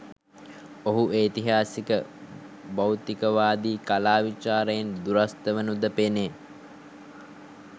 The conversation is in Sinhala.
ඔහු ඓතිහාසික භෞතිකවාදී කලා විචාරයෙන් දුරස්ථ වනු ද පෙනේ